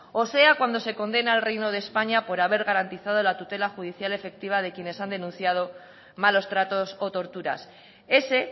o sea cuando se condena al reino de españa por haber garantizado la tutela judicial efectiva de quienes han denunciado malos tratos o torturas ese